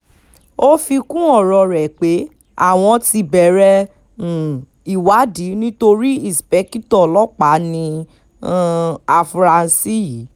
ó fi kún ọ̀rọ̀ ẹ̀ pé àwọn ti bẹ̀rẹ̀ um ìwádìí nítorí íńṣepẹ̀kìtọ́ ọlọ́pàá ní um àfúrásì yìí